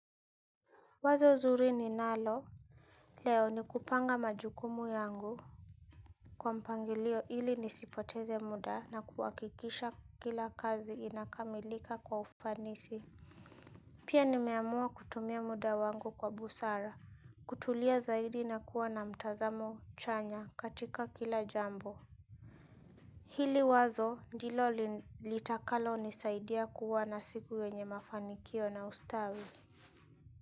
Wazo zuri ninalo leo ni kupanga majukumu yangu kwa mpangilio ili nisipoteze muda na kuhakikisha kila kazi inakamilika kwa ufanisi pia nimeamua kutumia muda wangu kwa busara kutulia zaidi na kuwa na mtazamo chanya katika kila jambo hili wazo ndilo litakalo nisaidia kuwa na siku yenye mafanikio na ustawi.